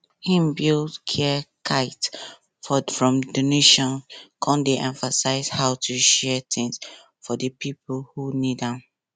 hin build care kits from donations come dey emphasize how to share things for di pipo who need am